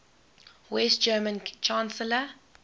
west german chancellor